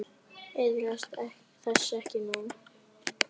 Iðrast þess ekki nú.